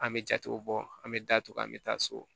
An bɛ jatew bɔ an bɛ datugu an bɛ taa so